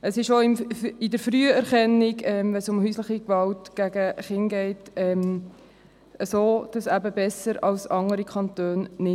Wenn es um häusliche Gewalt bei Kindern geht, ist es auch in der Früherkennung so, dass es eben nicht reicht, besser als andere Kantone zu sein.